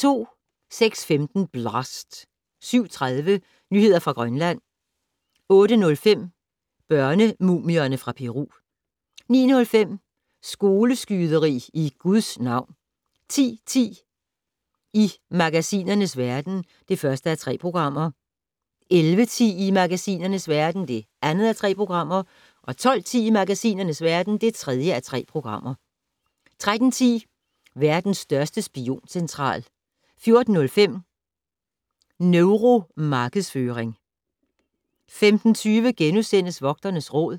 06:15: Blast! 07:30: Nyheder fra Grønland 08:05: Børnemumierne fra Peru 09:05: Skoleskyderi i Gud navn 10:10: I magasinernes verden (1:3) 11:10: I magasinernes verden (2:3) 12:10: I magasinernes verden (3:3) 13:10: Verdens største spioncentral 14:05: Neuromarkedsføring 15:20: Vogternes Råd *